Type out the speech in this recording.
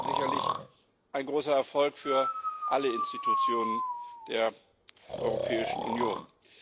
Das war sicherlich ein großer Erfolg für alle Institutionen der Europäischen Union.